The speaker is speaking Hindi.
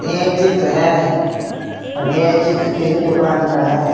यह एक चित्र है यह चित्र किसी दुकान का है।